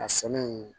A sɛnɛ in